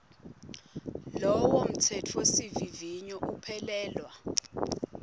lowo mtsetfosivivinyo uphelelwa